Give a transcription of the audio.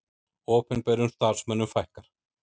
Opinberum starfsmönnum fækkar